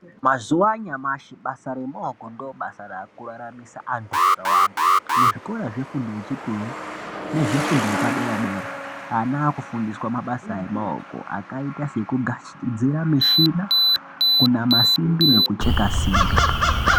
Mazuwa anyamashi, basa remaoko ndobasa raakuraramisa antu akawanda. Muzvikora zvefundo yechipiri nezvefundo yepadera-dera, ana aakufundiswa mabasa emaoko, akaita sekugadzira mishina kunama simbi, nekucheka simbi.